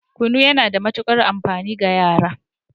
Kunu yana da matukar amfani ga yara